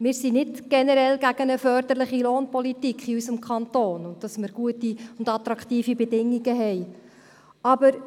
Wir sind nicht generell gegen eine förderliche Lohnpolitik in unserem Kanton und auch nicht dagegen, gute und attraktive Bedingungen zu haben.